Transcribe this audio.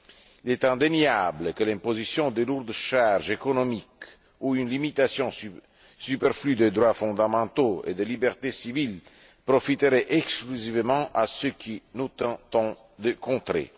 Il est indéniable que l'imposition de lourdes charges économiques ou une limitation superflue des droits fondamentaux et des libertés civiles profiteraient exclusivement à ceux que nous tentons de contrer.